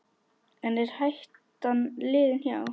En er hættan liðin hjá?